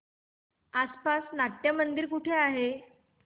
आसपास नाट्यमंदिर कुठे आहे